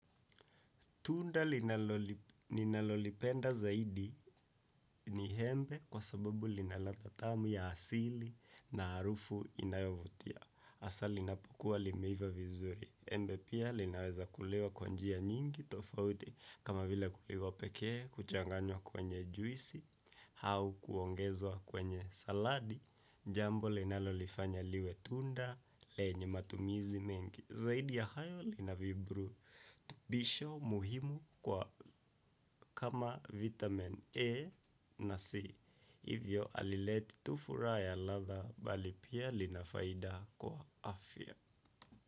Tunda ninalo lipenda zaidi ni embe kwasababu lina latha tamu ya asili na harufu inayo vutia. Asa linapokuwa limeiva vizuri. Embe pia linaweza kuliwa kwa njia nyingi tofauti kama vile kuliwa pekee, kuchanganywa kwenye juisi, hau kuongezwa kwenye saladi. Jambo linalolifanya liwe tunda, lenye matumizi mengi. Zaidi ya hayo lina viburu tubisho muhimu kwa kama vitamin A na C. Hivyo jalileti tu furaha ya latha bali pia linafaida kwa afya.